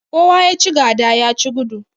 Kowa ya ci gada ya ci gudu.